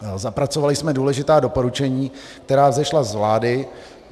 Zapracovali jsme důležitá doporučení, která vzešla z vlády.